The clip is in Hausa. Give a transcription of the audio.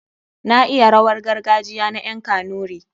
Na iya rawar gargajiya na ƴan kanuri.